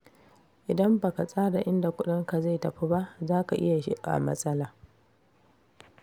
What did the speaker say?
Idan ba ka tsara inda kudinka zai tafi ba, za ka iya shiga matsala.